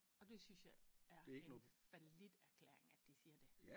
Og det synes jeg er en fallit erklæring at de siger de